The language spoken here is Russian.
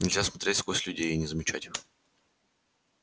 нельзя смотреть сквозь людей и не замечать их